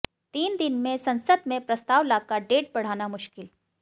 तीन दिन में संसद में प्रस्ताव लाकर डेट बढ़ाना मुश्किल